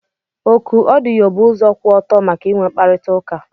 Oku odiyo bụ ụzọ kwụ ọtọ maka inwe mkparịta ụka.